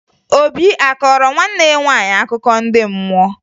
Obi a kọọrọ nwanne ya nwaanyị akụkọ ndị mmụọ?